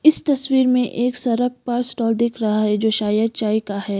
इस तस्वीर में एक सड़क पर स्टॉल दिख रहा है जो शायद चाय का है।